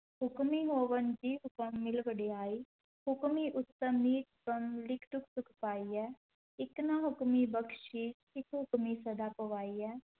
ਹੁਕਮੀ ਹੋਵਨਿ ਜੀਅ ਹੁਕਮਿ ਮਿਲ ਵਡਿਆਈ, ਹੁਕਮੀ ਉਤਮੁ ਲਿਖਿ ਦੁਖ ਸੁਖ ਪਾਈਅਹਿ, ਇਕਨਾ ਹੁਕਮੀ ਬਖਸੀਸ ਇਕ ਹੁਕਮੀ ਸਦਾ ਭਵਾਈਅਹਿ,